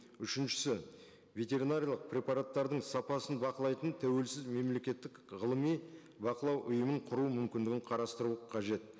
үшіншісі ветеринариялық препараттардың сапасын бақылайтын тәуелсіз мемлекеттік ғылыми бақылау ұйымын құру мүмкіндігін қарастыру қажет